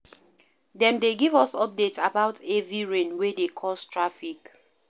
Dem dey give us updates about heavy rain wey dey cause traffic.